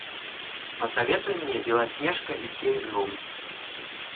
посоветуй мне белоснежка и семь гномов